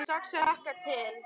Ég fór strax að hlakka til.